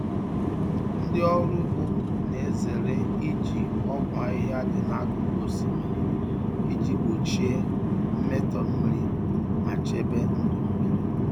Ndị ọrụ ugbo na-ezere iji ọgwụ ahịhịa dị n'akụkụ osimiri iji gbochie mmetọ mmiri ma chebe ndụ mmiri.